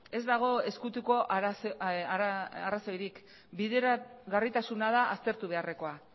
ez dago ezkutuko arrazoirik bideragarritasuna da aztertu beharrekoa